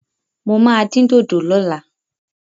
Mo máa dín dòdò lọ́la.